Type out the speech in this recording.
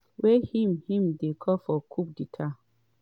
wey im im dey call for “coup d’etàt”.